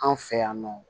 Anw fɛ yan nɔ